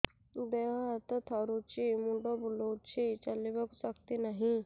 ଦେହ ହାତ ଥରୁଛି ମୁଣ୍ଡ ବୁଲଉଛି ଚାଲିବାକୁ ଶକ୍ତି ନାହିଁ